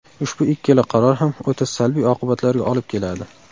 Ushbu ikkala qaror ham o‘ta salbiy oqibatlarga olib keladi.